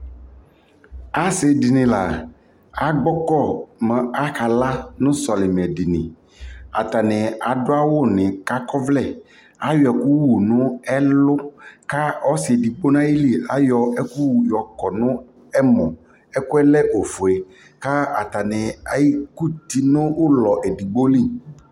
asii dini la agbɔkɔ ma aka la nʋ sɔlimɛ dini, atani adʋ awʋ ni ka akɔ ɔvlɛ, ayɔ ɛkʋ wʋnʋ ɛlʋ kʋ ɔsii ɛdigbɔ nʋali ayɔ ayɔbɛkʋ wʋ yɔkɔnʋ ɛmɔ, ɛkʋɛ lɛ ɔƒʋɛ ka atani ɛkʋti nʋʋlɔ ɛdigbɔ li